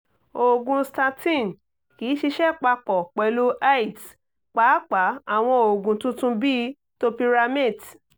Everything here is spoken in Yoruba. oògùn statin kì í ṣiṣẹ́ papọ̀ pẹ̀lú aeds pàápàá àwọn oògùn tuntun bíi topiramate